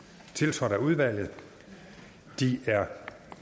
tiltrådt af udvalget de er